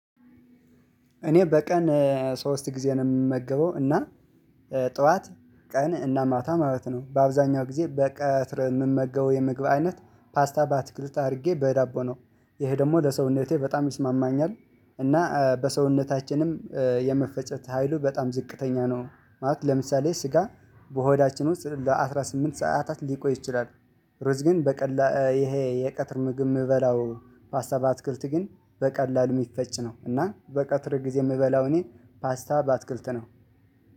እኔ በቀን ሶስት ጊዜ ነው የምመገበው። እና ጧት ቀን እና ማታ ማለት ነው። በአብዛንያው ጊዜ በቀትር የምመገበው የምመገበው አይነት ፓስታ ባትክልት አድርጌ በዳቦ ነው ይሄ ደግሞ ለሰውነቴ በጣም ይስማማኛል: :እና በሰውነታችንም የመፈጨት ሀይሉ በጣም ዝቅተኛ ነው። ማለት ለምሳሌ ስጋ በሆዳችን ውስጥ ለአሥራ ስምንት ሰዓታት ሊቆይ ይችላል። ርዝ ግን በቀላሉ ይሄ የቀትር ምግብ የምበላው- ፓስታ በአትክልት ግን በቀላሉ የምፈጭ ነው። እና በቀትር ጊዜ የምበላው እኔ ፓስታ በአትክልት ነው።